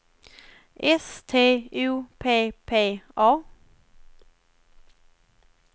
S T O P P A